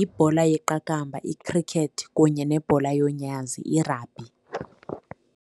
Ibhola yeqakamba, ikhrikethi kunye nebhola yomnyazi, irabhi.